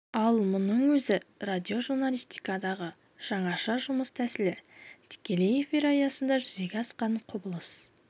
ал мұның өзі радиожурналистикадағы жаңаша жұмыс тәсілі тікелей эфир аясында жүзеге асқан құбылыс